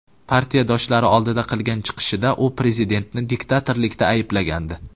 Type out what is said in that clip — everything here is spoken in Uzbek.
Partiyadoshlari oldida qilgan chiqishida u prezidentni diktatorlikda ayblagandi.